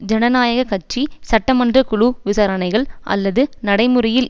ஜனநாயக கட்சி சட்ட மன்ற குழு விசாரணைகள் அல்லது நடைமுறையில்